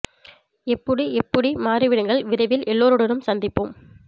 எப்புடி எப்புடி மாற்றிவிடுங்கள் விரைவில் எல்லோருடனும் சந்திப்போம்